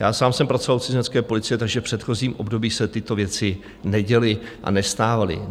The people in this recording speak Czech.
Já sám jsem pracoval u cizinecké policie, takže v předchozím období se tyto věci neděly a nestávaly.